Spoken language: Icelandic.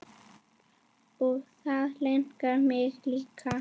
Og það langar mig líka.